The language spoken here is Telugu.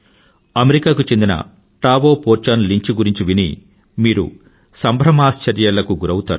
అమెరికా కు చెందిన టాయో పోర్చోన్లించ్ గురించి విని మీరు సంభ్రమాశ్చర్యాలకు గురౌతారు